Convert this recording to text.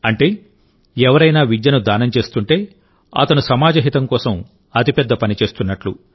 అంటే ఎవరైనా విద్యను దానం చేస్తుంటేఅతను సమాజ హితం కోసం అతిపెద్ద పని చేస్తున్నట్టు